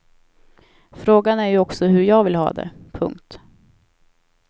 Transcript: Frågan är ju också hur jag vill ha det. punkt